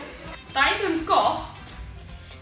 dæmi um gott